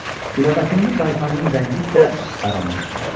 güləbətinli qaytanının rəngi isə qaralmışdı.